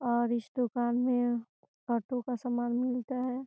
और इस दुकान में ऑटो का सामान भी मिलता है|